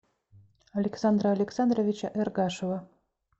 александра александровича эргашева